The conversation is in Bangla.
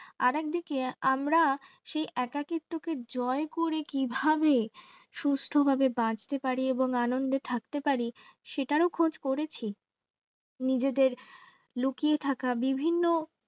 আর একদিকে আমরা সেই সেই একাকীত্বকে জয় করে কিভাবে সুস্থ ভাবে বাঁচতে পারি এবং আনন্দ থাকতে পারি সেটারও খোঁজ করেছি নিজেদের লুকিয়ে থাকা বিভিন্ন